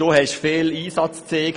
Du hast viel Einsatz gezeigt.